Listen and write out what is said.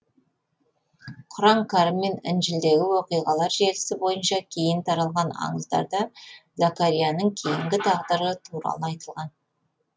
құран кәрім мен інжілдегі оқиғалар желісі бойынша кейін таралған аңыздарда закарияның кейінгі тағдыры туралы айтылған